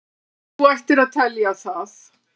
Þú ættir að telja það.